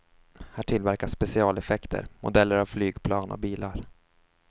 Här tillverkas specialeffekter, modeller av flygplan och bilar.